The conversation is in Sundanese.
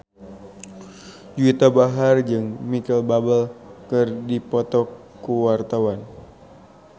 Juwita Bahar jeung Micheal Bubble keur dipoto ku wartawan